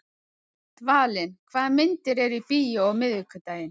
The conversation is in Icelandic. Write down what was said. Dvalinn, hvaða myndir eru í bíó á miðvikudaginn?